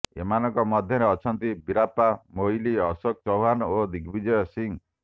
ଏମାନଙ୍କ ମଧ୍ୟରେ ଅଛନ୍ତି ବୀରପ୍ପା ମୋଇଲି ଅଶୋକ ଚୌହ୍ୱାନ ଓ ଦିଗବଜିୟ ସିଂହ